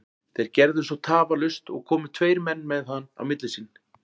Þeir gerðu svo tafarlaust og komu tveir menn með hann á milli sín.